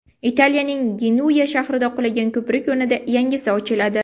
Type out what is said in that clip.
Italiyaning Genuya shahrida qulagan ko‘prik o‘rnida yangisi ochiladi .